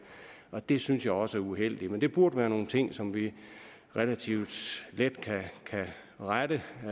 og det synes jeg også er uheldigt men det burde være nogle ting som vi relativt let kan rette